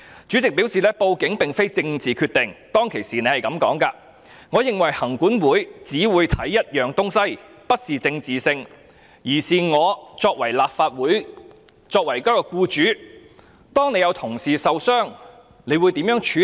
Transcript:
主席表示報案並非政治決定，他當時是這樣說的："我認為行管會只會看一件事，這不是政治性，而是我作為一名僱主，當有同事受傷時，我會如何處理。